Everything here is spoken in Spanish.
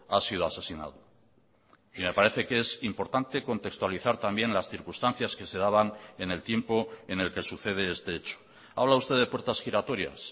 ha sido asesinado y me parece que es importante contextualizar también las circunstancias que se daban en el tiempo en el que sucede este hecho habla usted de puertas giratorias